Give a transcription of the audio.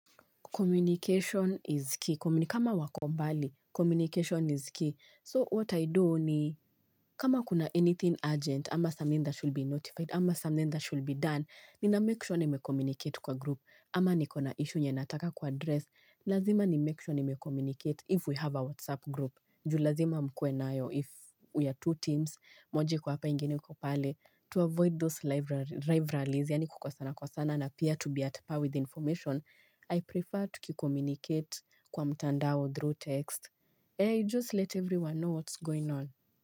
Communication is key. Kama wako mbali, communication is key. So what I do ni kama kuna anything urgent, ama something that should be notified, ama something that should be done, nina make sure nimecommunicate kwa group, ama niko na issue yenye nataka kwa address, lazima ni make sure ni mecommunicate if we have a WhatsApp group. Jul azima mkue nayo if we are two teams moja kwa hapa ingeni iko pale to avoid those rivalries yani kukosana kosana na pia to be at par with information I prefer tukicommunicate kwa mtandao, through text, I just let everyone know what's going on.